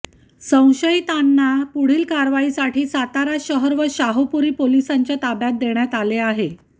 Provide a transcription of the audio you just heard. संशयितांना पुढील कारवाईसाठी सातारा शहर व शाहूपुरी पोलिसांच्या ताब्यात देण्यात आले आहे